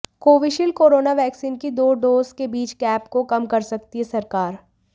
Covishield corona vaccine की दो dose के बीच गैप को कम कर सकती है सरकार